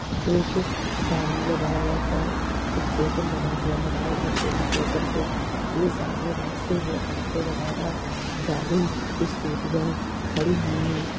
एक सामने रायगढ़ का स्टेशन बना हुआ है रायगढ़ के स्टेशन के ये सामने रास्ते में ऑटो वगेरा गाड़ी स्कूटियाँ खड़ी हुई है।